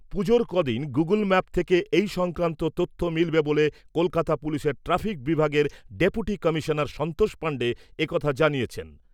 পুজোর কদিন Google map থেকে এই সংক্রান্ত তথ্য মিলবে বলে কলকাতা পুলিশের ট্রাফিক বিভাগের ডেপুটি কমিশনার সন্তোষ পাণ্ডে এ কথা জানিয়েছেন।